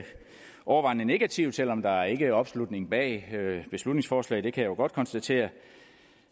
overvejende negativt selv om der ikke er opslutning bag beslutningsforslaget det kan jeg jo godt konstatere